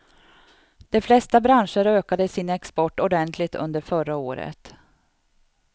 De flesta branscher ökade sin export ordentligt under förra året.